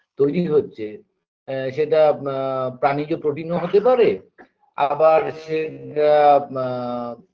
তৈরি হচ্ছে আ সেটা আ প্রানীকে protein -ও হতে পারে আবার সে জ্ঞা মা